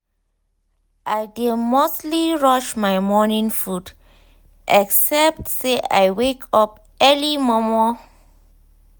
i dey mostly rush my mornin food except say i wake up early momo